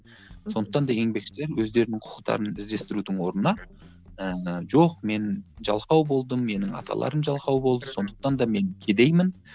сондықтан да еңбекшілер өздерінің құқықтарын іздестірудің орнына ыыы жоқ мен жалқау болдым менің аталарым жалқау болды сондықтан да мен кедеймін